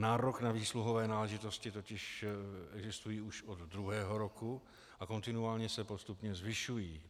Nárok na výsluhové náležitosti totiž existují už od druhého roku a kontinuálně se postupně zvyšují.